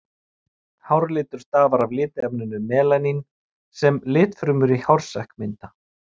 Hárlitur stafar af litarefninu melanín sem litfrumur í hársekk mynda.